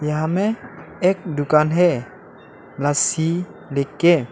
यहां में एक दुकान है लस्सी लिखके।